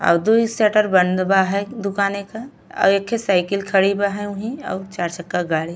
अउ दूई शटर बंद बा हय दुकानि क। एखे साइकिल खड़ी बा वहीं। अउ चार चक्का गाड़ी।